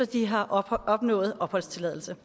de har opnået opholdstilladelse